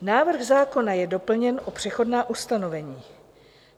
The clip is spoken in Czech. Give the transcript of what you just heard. Návrh zákona je doplněn o přechodná ustanovení.